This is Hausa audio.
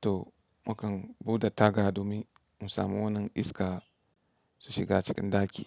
to mu kan bude taga domin mu samu wannan iska su shiga cikin ɗaki.